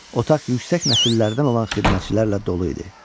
Otaq yüksək nəsillərdən olan xidmətçilərlə dolu idi.